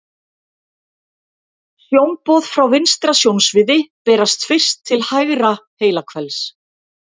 Sjónboð frá vinstra sjónsviði berast fyrst til hægra heilahvels.